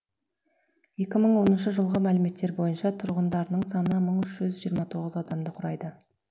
екі мың оныншы жылғы мәліметтер бойынша тұрғындарының саны мың үш жүз жиырма тоғыз адамды құрайды